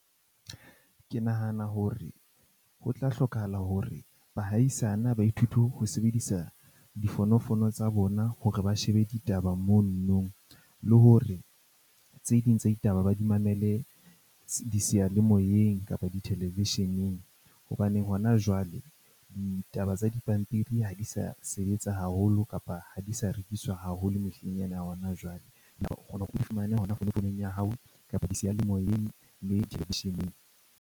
Ke nahana hore ho tla hlokahala hore bahaisane baithuti ho sebedisa difonofono tsa bona hore ba shebe ditaba mono nong, le hore tse ding tsa ditaba ba di mamele diseyalemoyeng kapa di- television-eng. Hobaneng hona jwale ditaba tsa dipampiri ha di sa sebetsa haholo kapa ha di sa rekiswa haholo mehleng ya hona jwale. seyalemoyeng le television-eng.